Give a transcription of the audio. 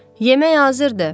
Yemək hazırdır.